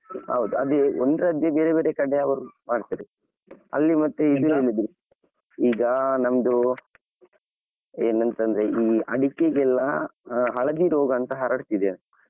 ಹೌದು ಅದೇ ಒಂದ್ರದ್ದೆ ಬೇರೆ ಬೇರೆ ಕಡೆಯವರು ಮಾಡ್ತಾರೆ ಅಲ್ಲಿ ಮತ್ತೆ ಈಗ ನಮ್ದು ಏನಂತಂದ್ರೆ ಈ ಅಡಿಕೆಗೆಲ್ಲಾ ಹಳದಿ ರೋಗ ಅಂತ ಹರಡ್ತಿದೆಯಂತೆ.